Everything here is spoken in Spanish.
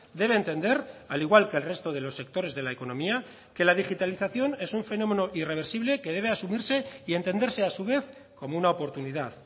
debe entender al igual que el resto de los sectores de la economía que la digitalización es un fenómeno irreversible que debe asumirse y entenderse a su vez como una oportunidad